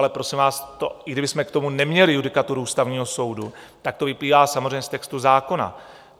Ale prosím vás, i kdybychom k tomu neměli judikaturu Ústavního soudu, tak to vyplývá samozřejmě z textu zákona.